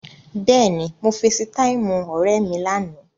Bẹ́ẹ̀ni, mo feesitáìmù ọ̀rẹ́ mi lánàá.